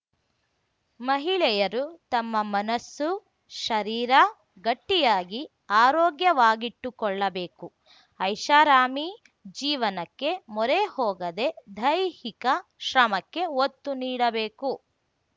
ಮಹಿಳೆಯರು ತಮ್ಮ ಮನಸ್ಸು ಶರೀರ ಗಟ್ಟಿಯಾಗಿ ಆರೋಗ್ಯವಾಗಿಟ್ಟುಕೊಳ್ಳಬೇಕು ಐಷಾರಾಮಿ ಜೀವನಕ್ಕೆ ಮೊರೆ ಹೋಗದೇ ದೈಹಿಕ ಶ್ರಮಕ್ಕೆ ಒತ್ತು ನೀಡಬೇಕು